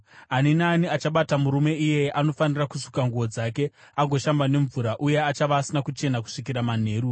“ ‘Ani naani achabata murume iyeye anofanira kusuka nguo dzake agoshamba nemvura, uye achava asina kuchena kusvikira manheru.